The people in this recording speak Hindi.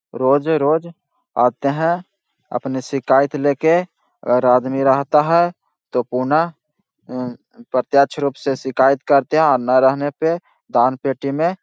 रोजे-रोज आते हैं अपनी शिकायत ले के अगर आदमी रहता है तो पुन प्रत्यक्ष रूप से शिकायत करते है अम्म ना रहने पे दान-पटी में --